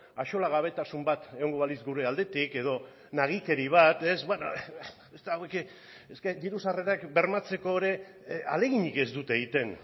axolagabetasun bat egongo balitz gure aldetik edo nagikeri bat diru sarrerak bermatzeko ere ahaleginik ez dute egiten